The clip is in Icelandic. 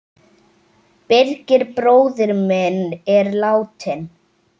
Birgir bróðir minn er látinn.